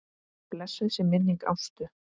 Blessuð sé minning Ástu.